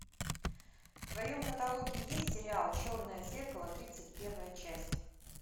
в твоем каталоге есть сериал черное зеркало тридцать первая часть